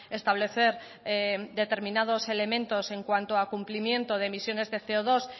establecer determinados elementos en cuanto a cumplimiento de emisiones de ce o dos